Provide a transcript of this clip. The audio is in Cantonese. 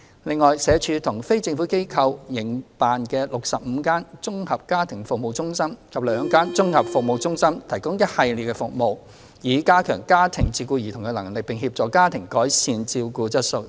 另外，社署和非政府機構營辦的65間綜合家庭服務中心及兩間綜合服務中心，提供一系列的服務，以加強家庭照顧兒童的能力，並協助家長改善照顧質素。